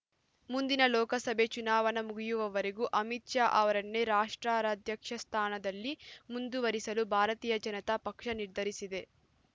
ಮುಂದಿನ ಲೋಕಸಭೆ ಚುನಾವಣೆ ಮುಗಿಯುವವರೆಗೂ ಅಮಿತ್‌ ಶಾ ಅವರನ್ನೇ ರಾಷ್ಟ್ರಾಧ್ಯಕ್ಷ ಸ್ಥಾನದಲ್ಲಿ ಮುಂದುವರಿಸಲು ಭಾರತೀಯ ಜನತಾ ಪಕ್ಷ ನಿರ್ಧರಿಸಿದೆ